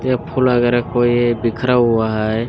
ये फुल वगेरा कोई बिखरा हुआ है।